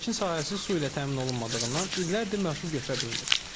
Əkin sahəsi su ilə təmin olunmadığından illərdir məhsul götürə bilmir.